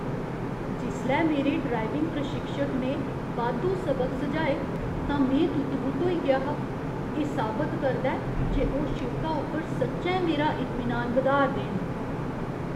जिसलै मेरे ड्राइविंग प्रशिक्षक ने बाद्धू सबक सुझाए तां में तुत्त बुत्त होई गेआ हा। एह् साबत करदा ऐ जे ओह् शिड़का उप्पर सच्चैं मेरा इतमीनान बधाऽ 'रदे न।